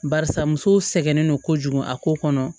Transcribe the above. Barisa musow sɛgɛnnen don kojugu a ko kɔnɔ